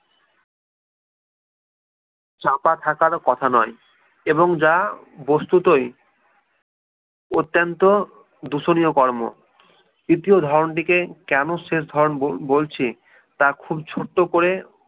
চাপা থাকার ও কথা নয় এবং যা বস্তুতই অত্যন্ত দূষণীয় কর্ম। তৃতীয় ধরনটিকে কেন শেষ ধরন বলছি তা খুব ছোট্ট করে